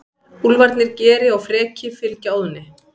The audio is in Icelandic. Úlfarnir Geri og Freki fylgja Óðni.